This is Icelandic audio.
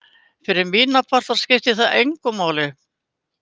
Fyrir mína parta skipti það engu máli.